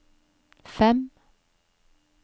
fem